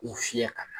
U fiyɛ ka na